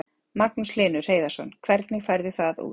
Magnús Hlynur Hreiðarsson: Hvernig færðu það út?